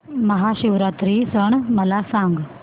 महाशिवरात्री सण मला सांग